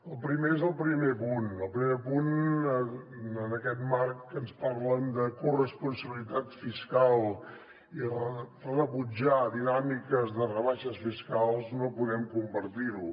el primer és el primer punt el primer punt en aquest marc que ens parlen de corresponsabilitat fiscal i rebutjar dinàmiques de rebaixes fiscals no podem compartir lo